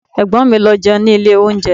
Ẹ̀gbọ́n mi lọ jẹun ní ilé oúnjẹ